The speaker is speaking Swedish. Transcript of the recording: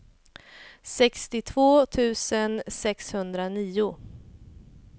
sextiotvå tusen sexhundranio